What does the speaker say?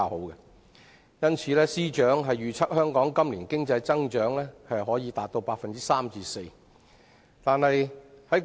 因此，司長預測香港今年經濟增長可達 3% 至 4%。